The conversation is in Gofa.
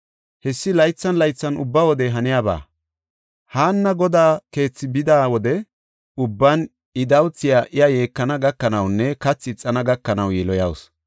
Hessi laythan laythan ubba wode haniyaba. Haanna Godaa keethi bida wode ubban I dawuthiya iya yeekana gakanawunne kathi ixana gakanaw yiloyawusu.